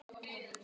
Þér líka?